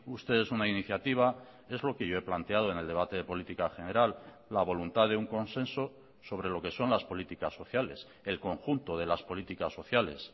ustedes una iniciativa es lo que yo he planteado en el debate de política general la voluntad de un consenso sobre lo que son las políticas sociales el conjunto de las políticas sociales